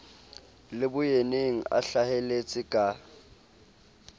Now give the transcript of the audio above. le boyeneng a hlaheletse ka